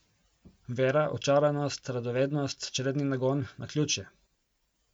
Vera, očaranost, radovednost, čredni nagon, naključje.